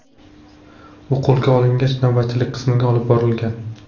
U qo‘lga olingach, navbatchilik qismga olib borilgan.